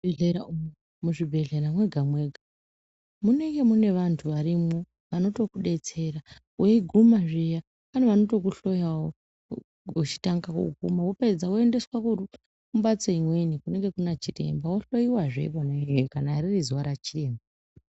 Muzvibhedhlera umo, muzvibhedhlera mwega mwega munenge mune vantu varimwo vanotokudetsera weiguma zviya pane vanotokuhloyawo uchitanga woguma wopedza woendeswa kurumbatso imweni inenge ina chiremba wohloiwazve ikona iyoyo kana ririzuwa rachiremba.